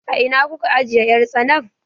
A ina kuka ajiye 'yar tsanan?